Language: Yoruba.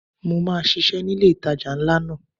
Mo máa ṣisẹ́ ni ilé ìtajà ńlá náà.